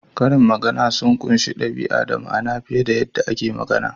Karin magana sun ƙunshi ɗabi'a da ma'ana fiye da yadda ake magana.